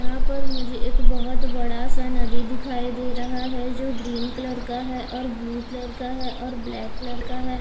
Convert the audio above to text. यहां पर मुझे एक बबहुत बड़ा सा नदी दिखाई दे रहा है जो ग्रीन कलर का है और ब्लू कलर का है और ब्लैक कलर का है।